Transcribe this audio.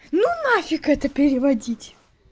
ну нафиг это переводить